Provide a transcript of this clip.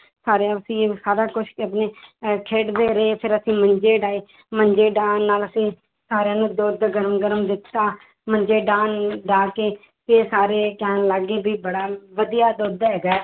ਸਾਰੇ ਅਸੀਂ ਸਾਰਾ ਕੁਛ ਅਹ ਖੇਡਦੇ ਰਹੇ ਫਿਰ ਅਸੀਂ ਮੰਜੇ ਡਾਹੇ ਮੰਜੇ ਡਾਹਣ ਨਾਲ ਸਾਰਿਆਂ ਨੂੰ ਦੁੱਧ ਗਰਮ ਗਰਮ ਦਿੱਤਾ, ਮੰਜੇ ਡਾਹਣ ਡਾਹ ਕੇ ਤੇ ਸਾਰੇ ਕਹਿਣ ਲੱਗ ਗਏ ਵੀ ਬੜਾ ਵਧੀਆ ਦੁੱਧ ਹੈਗਾ ਹੈ